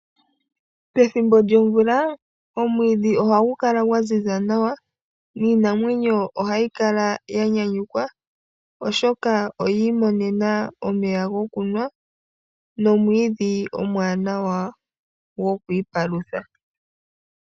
Pethimbo lyomvula omwiidhi ohagu kala gwaziza nawa niinamwenyo ohayi kala yanyanyukwa oshoka oyi imonena omaya gokunwa nomwiidhi omwaanawa gokwiipalutha.